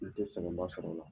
N tɛ sɛgɛn ba sɔrɔ o la.